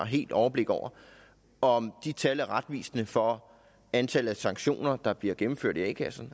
helt overblik over om de tal er retvisende for antallet af sanktioner der bliver gennemført i a kasserne